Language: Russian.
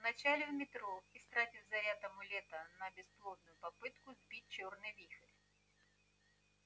вначале в метро истратив заряд амулета на бесплодную попытку сбить чёрный вихрь